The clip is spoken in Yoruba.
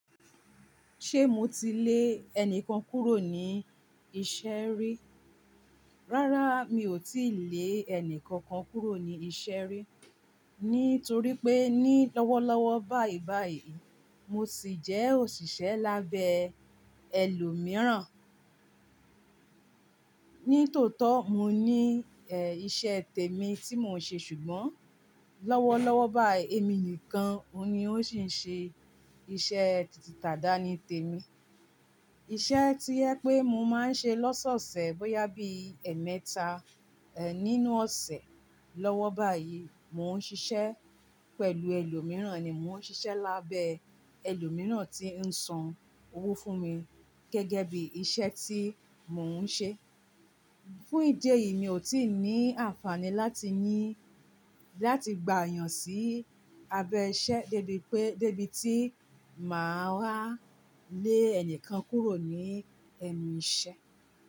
Ṣé mo ti lé ẹni kan kúrò ní iṣẹ́ rí? Rárá, mi ò tíì lé ẹni kankan kúrò ní iṣẹ́ rí, nítorí pé ní lọ́wọ́lọ́wọ́ báyìí báyìí, mo sì jẹ́ òṣìṣẹ́ lábẹ́ ẹlòmíràn. Ní tòótọ́, mo ní è, iṣẹ́ tèmi tí mò ń ṣe ṣùgbọ́n lọ́wọ́lọ́wọ́ báyìí, èmi nìkan ni ó sì ń ṣe iṣẹ́ tìtì ìtàdánì tèmi. Iṣẹ́ tí ẹ pé mo máa ń ṣe lọ́sọ̀ọ̀sẹ̀ bóyá bí ẹ̀ẹ̀mẹta, ẹ, nínú ọ̀sẹ̀. Lọ́wọ́ báyìí, mò ń ṣiṣẹ́ pẹ̀lú ẹlòmíràn ni, mò ń ṣiṣẹ́ lábẹ́ ẹlòmíràn tí ń san owó fún mi gẹ́gẹ́ bí iṣẹ́ tí mò ń ṣe. Fún ìdí èyí, mi ò tíì ní àǹfààní láti ní, láti gbà yàn sí abẹ iṣẹ́ débi pé, débi tí màá wàá lé ẹni kan kúrò ní ẹnu iṣẹ́.